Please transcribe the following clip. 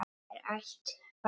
Er allt fast?